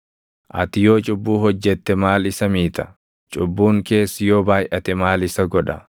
Ati yoo cubbuu hojjette maal isa miita? Cubbuun kees yoo baayʼate maal isa godha?